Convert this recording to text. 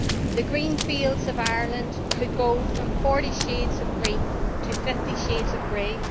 The green fields of Ireland could go from 40 shades of green to 50 shades of grey.